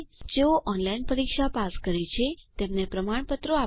જેઓ ઓનલાઇન પરીક્ષા પાસ કરે છે તેમને પ્રમાણપત્ર આપે છે